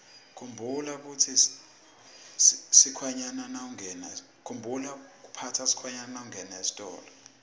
khumbula kuphatsa sikhwama nawungena esitolo